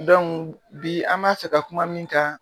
bi an ma fɛ ka kuma min kan